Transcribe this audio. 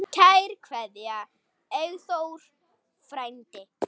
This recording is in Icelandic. Kær kveðja, Eyþór frændi.